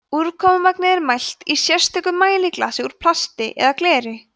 úrkomumagnið er mælt í sérstöku mæliglasi úr plasti eða gleri